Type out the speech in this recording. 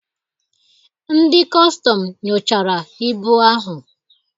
Ndị kọstọm nyochara ibu ahụ.